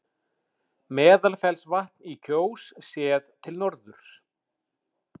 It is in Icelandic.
Meðalfellsvatn í Kjós, séð til norðurs.